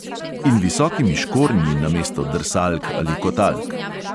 In visokimi škornji namesto drsalk ali kotalk!